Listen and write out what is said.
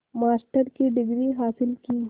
master की degree हासिल की